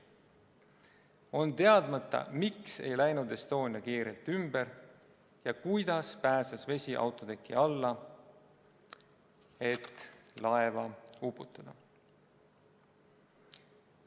On teadmata, miks ei läinud Estonia kiirelt ümber ja kuidas pääses vesi autoteki alla, et laeva uputada.